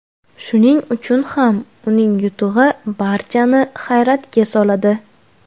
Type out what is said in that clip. Shuning uchun ham uning yutug‘i barchani hayratga soladi.